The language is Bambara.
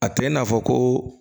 A tɛ i n'a fɔ ko